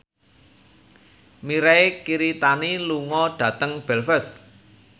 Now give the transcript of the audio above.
Mirei Kiritani lunga dhateng Belfast